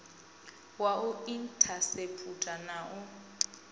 wa u inthaseputha na u